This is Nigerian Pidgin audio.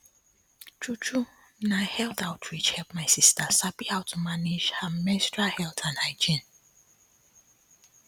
true true na health outreach help my sister sabi how to manage her menstrual health and hygiene